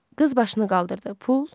Qız başını qaldırdı.